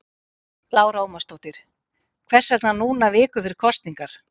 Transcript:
Lára Ómarsdóttir: Hvers vegna núna viku fyrir kosningar?